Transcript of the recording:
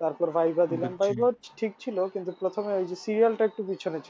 তারপর viva দিলাম viva ও ঠিক ছিল কিন্তু প্রথমে ওই serial তা একটু পিছনে